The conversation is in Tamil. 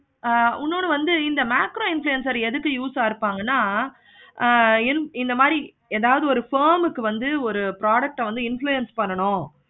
ஆஹ் இன்னொரு வந்து இந்த macro influencer எதுக்கு use ஆஹ் இருப்பங்கனா ஆஹ் இந்த மாதிரி ஏதாவது ஒரு firm க்கு வந்து ஏதாவது ஒரு product ஆஹ் வந்து influence பண்ணணும்.